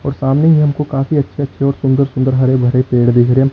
और सामने ही हमको काफी अच्छे अच्छे और सुंदर सुंदर हरे भरे पेड़ देख रहे हैं।